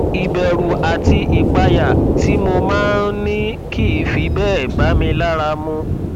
ìbẹrù àti ìpayà tí mo máa ń ní kìí fi bẹẹ bá mi lára mu